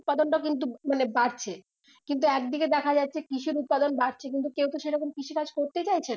কদমটা কিন্তু মানে বাড়ছে কিন্তু একদিকে দেখা যাচ্ছে কৃষির উদপাদন বাড়ছে কিন্তু কেও তো সেরকম কৃষি কাজ করতে চাইছে না